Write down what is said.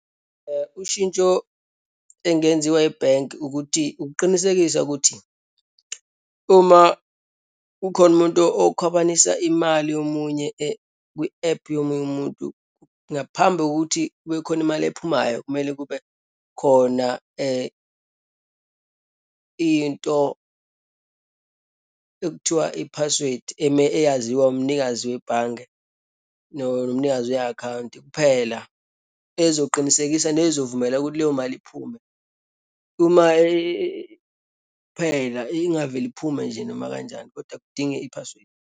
Ushintsho engenziwa ebhenki ukuthi ukuqinisekisa ukuthi, uma kukhona umuntu okukhwabanisa imali yomunye kwi-ephu yomunye umuntu ngaphambi kokuthi kube khona imali ephumayo, kumele kube khona into ekuthiwa i-password, eyaziwa umnikazi webhange, nomnikazi we-akhawunti kuphela, esizoqinisekisa, nezovumela ukuthi leyo mali iphume. Uma iphela ingavele iphume nje noma kanjani, kodwa kudinge i-password.